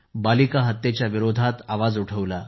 बालिका हत्येच्याविरोधात आवाज उठवला